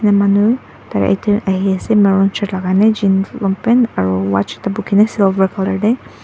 manu ahiase maroon shirt lakai na jean long pant aro watch ekta bukhina silver colour tae.